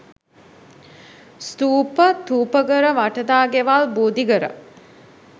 ස්ථූප, ථූපඝර වටදාගෙවල් බෝධිඝර,